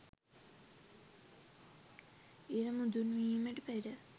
ඉර මුදුන්වීමට පෙර